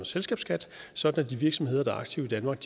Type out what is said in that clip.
selskabsskat sådan at de virksomheder der er aktive i danmark